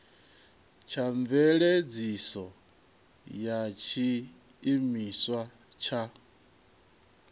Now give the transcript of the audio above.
tsha mveledziso ya tshiimiswa tsha